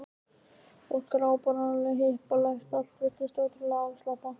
Fólk var áberandi hippalegt og allt virtist ótrúlega afslappað.